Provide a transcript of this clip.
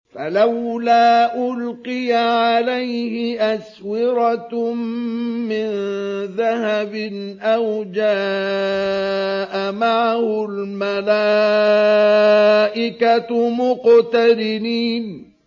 فَلَوْلَا أُلْقِيَ عَلَيْهِ أَسْوِرَةٌ مِّن ذَهَبٍ أَوْ جَاءَ مَعَهُ الْمَلَائِكَةُ مُقْتَرِنِينَ